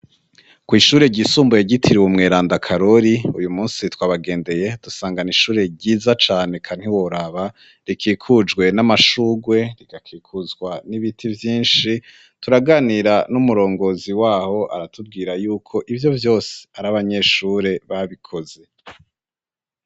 Kwishure ryisumbuye ryitiriwe mweranda karori uyu munsi twabagendeye dusanga ni ishure ryiza cane eka ntiworaba rikikujwe n'amashugwe rigakikuzwa n'ibiti vyinshi turaganira n'umurongozi waho aratubwira yuko ivyo vyose ari abanyeshure babikoze.